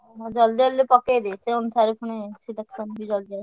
ହଁ ଜଲଦି ଜଲଦି ପକେଇଦେ ସେ ଅନୁସାରେ ପୁଣି selection ବି ଜଲଦି ଆସିବ।